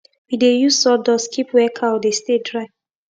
we dey use sawdust keep where cow dey stay dry